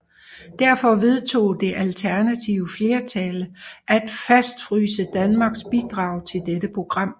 Derfor vedtog det alternative flertal at fastfryse Danmarks bidrag til dette program